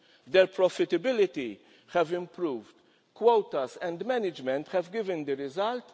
improved. Their profitability has improved. Quotas and management have given